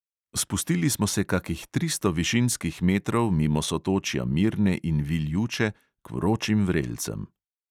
Spustili smo se kakih tristo višinskih metrov mimo sotočja mirne in viljuče k vročim vrelcem.